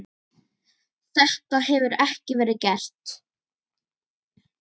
Þetta hefur ekki verið gert.